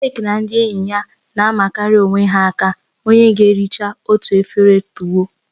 Jake na ndị enyi ya na-amakarị onye ha aka onye ga erichaa otu efere tuwo.